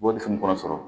Warifin kɔnɔ sɔrɔ